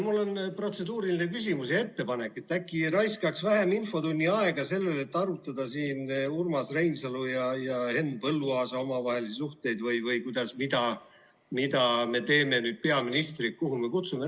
Mul on protseduuriline küsimus ja ettepanek, et äkki raiskaks vähem infotunni aega sellele, et arutada siin Urmas Reinsalu ja Henn Põlluaasa omavahelisi suhteid või mida me teeme nüüd peaministriga, kuhu me ta kutsume.